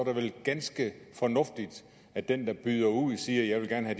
det vel ganske fornuftigt at den der byder ud siger at